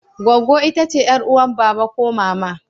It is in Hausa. Gwaggo itace yar'uwan baba ko mama.